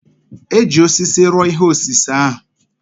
E ji osisi rụọ ihe osise ahụ.